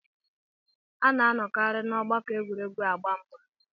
A ná-anọkarị n'ọgbakọ egwuregwu agba mgbà